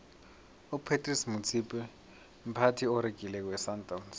upratice motsipe mphathi oregileko wesandawnsi